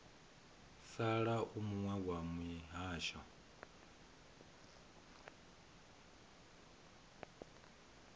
sala u muwe wa mihasho